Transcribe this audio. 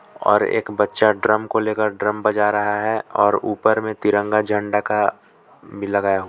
और एक बच्चा ड्रम को लेकर ड्रम बजा रहा है और ऊपर में तिरंगा झंडा का भी लगाया हुआ--